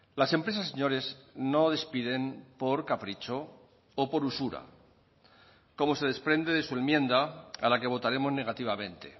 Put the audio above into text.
las empresas señores no despiden por capricho o por usura como se desprende de su enmienda a la que votaremos negativamente